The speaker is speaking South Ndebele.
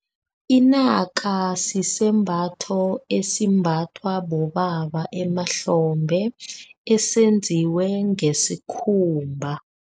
Inaka sisembatho esimbathwa bobaba emahlombe esenziwe ngesikhumba.